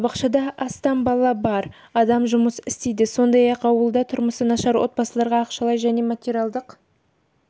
балабақшада астам бала бар адам жұмыс істейді сондай-ақ ауылда тұрмысы нашар отбасыларға ақшалай және материалдық